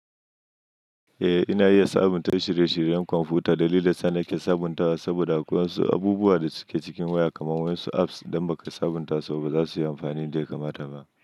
Eh, ina iya sabunta shirye-shiryen kwamfuta. Dalilin sa nake sabuntawa saboda akwai wasu abubuwa da suke cikin waya kamar wasu apps idan ba ka sabunta su ba baza su yi amfani yadda ya kamata ba.